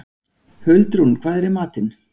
Huldrún, hvað er í matinn?